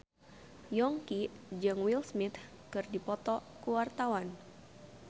Yongki jeung Will Smith keur dipoto ku wartawan